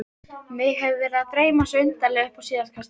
Mig hefur verið að dreyma svo undarlega upp á síðkastið.